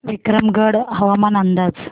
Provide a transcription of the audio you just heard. विक्रमगड हवामान अंदाज